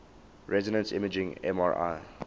resonance imaging mri